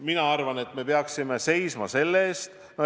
Mina arvan, et me peaksime seisma selle eest, et kaasrahastust vähendada.